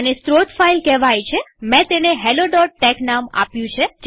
આને સ્ત્રોત ફાઈલ કહેવાય છેમેં તેને helloટેક્સ નામ આપ્યું છે